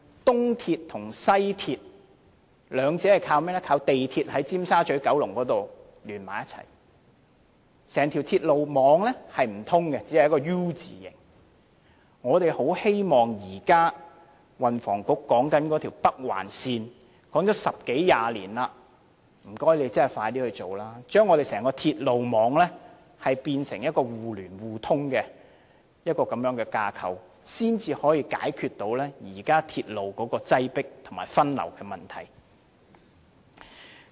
東鐵和西鐵兩者是靠港鐵在九龍尖沙咀聯合起來，整條鐵路網並不相通，只是一個 "U" 字型，我們很希望運輸及房屋局現時所說的北環線能實現，而這北環線也說了十多年二十年，麻煩當局盡快實行，將整個鐵路網變成互聯互通的架構，這樣才能解決鐵路現時擠迫和分流的問題。